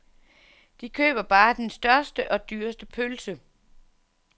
De køber bare den største og dyreste pølse.